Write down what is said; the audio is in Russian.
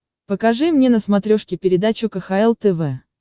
покажи мне на смотрешке передачу кхл тв